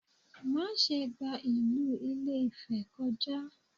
Má ṣe gba ìlú Ìlé-Ifẹ̀ kọjá!